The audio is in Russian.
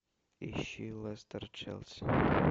ищи лестер челси